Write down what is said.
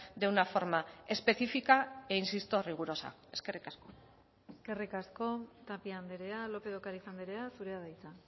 de una forma específica e insisto rigurosa eskerrik asko eskerrik asko tapia andrea lópez de ocariz andrea zurea da hitza